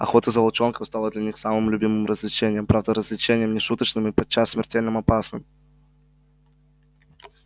охота за волчонком стала для них самым любимым развлечением правда развлечением не шуточным и подчас смертельным опасным